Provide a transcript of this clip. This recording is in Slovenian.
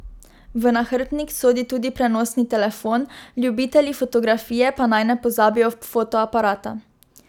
V nahrbtnik sodi tudi prenosni telefon, ljubitelji fotografije pa naj ne pozabijo fotoaparata.